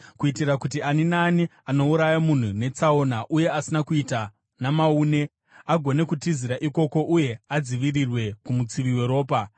kuitira kuti ani naani anouraya munhu netsaona uye asina kuita namaune, agone kutizira ikoko uye adzivirirwe kumutsivi weropa.